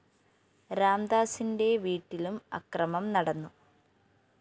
രാംദാസിന്റെ വീട്ടിലും അക്രമം നടന്നു